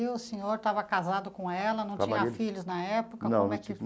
E o senhor estava casado com ela, não tinha filhos na época, como é